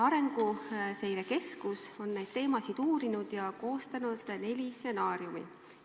Arenguseire Keskus on neid teemasid uurinud ja koostanud neli stsenaariumit.